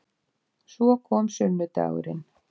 Svo kom sunnudagurinn